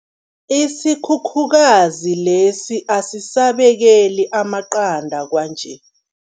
Isikhukhukazi lesi asisabekeli amaqanda kwanje.